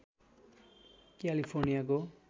क्यालिफोर्नियाको